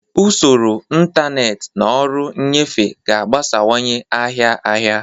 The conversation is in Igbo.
Usoro ntanetị na ọrụ nnyefe ga-agbasawanye ahịa ahịa.